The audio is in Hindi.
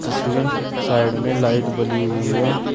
जिसमें साइड में लाइट बली हुई है।